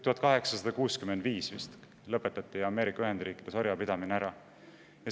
1865 vist lõpetati Ameerika Ühendriikides orjapidamine ära.